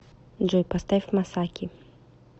джой поставь масаки